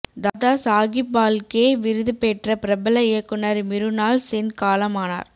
தாதா சாகிப் பால்கே விருது பெற்ற பிரபல இயக்குனர் மிருனாள் சென் காலமானார்